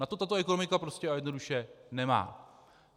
Na to tato ekonomika prostě a jednoduše nemá.